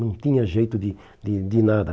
Não tinha jeito de de de nada.